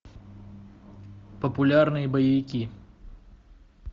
популярные боевики